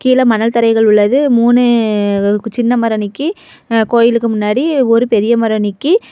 கிழ மணல் தரைகள் உள்ளது மூணு சின்னமரணிக்கி கோயிலுக்கு முன்னாடி ஒரு பெரிய மரோ நீக்கி.